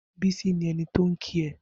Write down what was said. Bisi ni ẹni tó n kí è